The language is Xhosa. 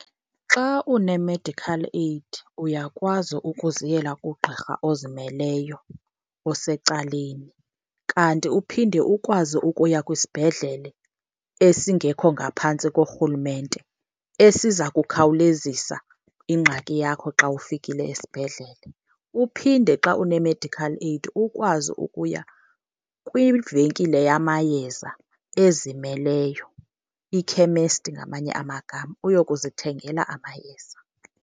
Xa une-medical aid uyakwazi ukuziyela kugqirha ozimeleyo osecaleni kanti uphinde ukwazi ukuya kwisibhedlele esingekho ngaphantsi korhulumente esiza kukhawulezisa ingxaki yakho xa ufikile esibhedlele. Uphinde xa une-medical aid ukwazi ukuya kwivenkile yamayeza ezimeleyo, ikhemesti ngamanye amagama, uyokuzithengela amayeza.